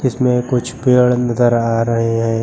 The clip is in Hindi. इसमें कुछ पेड़ नजर आ रहे हैं।